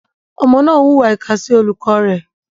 Ọmọ náà hùwà ìkà sí olùkọ́ rẹ̀.